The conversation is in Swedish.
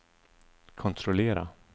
kontrollera